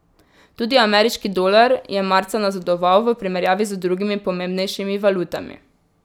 Tudi ameriški dolar je marca nazadoval v primerjavi z drugimi pomembnejšimi valutami.